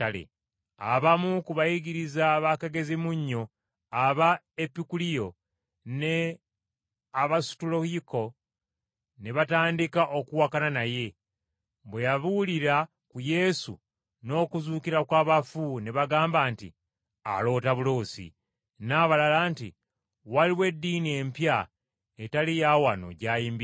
Abamu ku bayigiriza bakagezimunnyu Aba Epikuliyo ne Abasutoyiiko ne batandika okuwakana naye. Bwe yabuulira ku Yesu n’okuzuukira kw’abafu ne bagamba nti, “Aloota buloosi,” n’abalala nti, “Waliwo eddiini empya etali ya wano gy’ayimbirira.”